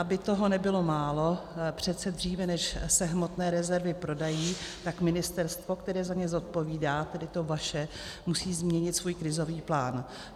Aby toho nebylo málo, přece dříve, než se hmotné rezervy prodají, tak ministerstvo, které za ně zodpovídá, tedy to vaše, musí změnit svůj krizový plán.